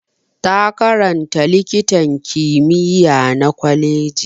Ta karanta likitan kimiyya na gwaji.